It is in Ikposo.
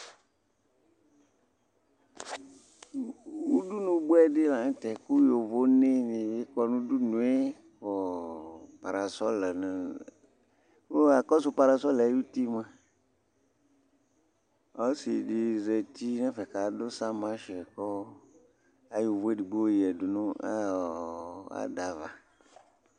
udunu boɛ di lantɛ kò yovonɛ ni bi kɔ n'udunu yɛ kò parasɔl lɛ no kò akɔsu parasɔl yɛ ayi uti moa ɔsi di zati n'ɛfɛ k'adu samansh kò ayɔ uvò edigbo ya du n'ada ava